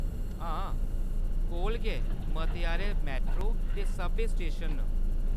हां, कोल गै मते हारे मेट्रो ते सबवेऽ स्टेशन न।